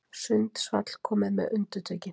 Sundsvall komið með undirtökin